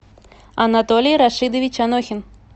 анатолий рашидович анохин